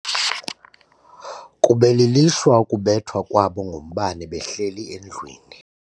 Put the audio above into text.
Kube lilishwa ukubethwa kwabo ngumbane behleli endlwini.